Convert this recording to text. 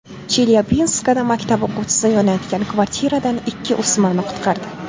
Chelyabinskda maktab o‘quvchisi yonayotgan kvartiradan ikki o‘smirni qutqardi.